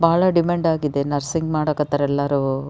ಬಹಳ ಡಿಮ್ಯಾಂಡ್ ಆಗಿದೆ ನರ್ಸಿಂಗ್ ಮಾಡಕ್ ಹತ್ತರ ಎಲ್ಲರು.